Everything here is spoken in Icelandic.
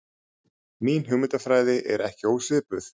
Mín hugmyndafræði er ekki ósvipuð.